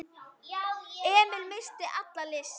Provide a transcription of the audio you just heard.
Emil missti alla lyst.